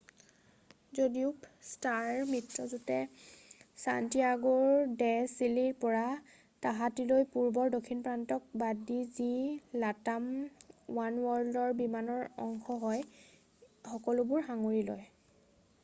যদিও ষ্টাৰ মিত্ৰযুটে ছান্টিয়াগোৰ ডে চিলিৰ পৰা তাহাটীলৈ পূৰ্ব দক্ষিণ প্ৰশান্তক বাদ দি, যি latam ওৱানৱৰ্ল্ডৰ বিমানৰ অংশ হয় সকলোবোৰক সাঙুৰি লয়।